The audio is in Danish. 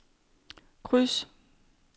kryds